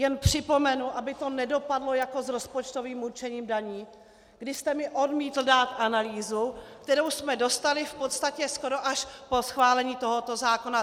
Jen připomenu, aby to nedopadlo jako s rozpočtovým určením daní, kdy jste mi odmítl dát analýzu, kterou jsme dostali v podstatě skoro až po schválení tohoto zákona.